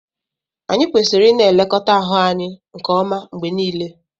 Anyị kwesịrị ịna-elekọta ahụ anyị nke ọma mgbe niile